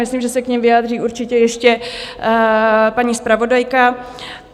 Myslím, že se k nim vyjádří určitě ještě paní zpravodajka.